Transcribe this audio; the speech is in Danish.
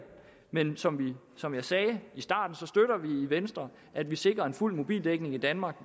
men som som jeg sagde i venstre at vi sikrer en fuld mobildækning i danmark